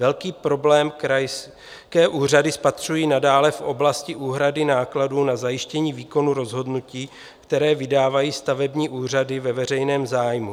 Velký problém krajské úřady spatřují nadále v oblasti úhrady nákladů na zajištění výkonu rozhodnutí, které vydávají stavební úřady ve veřejném zájmu.